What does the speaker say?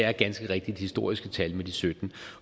er ganske rigtigt historiske tal med de sytten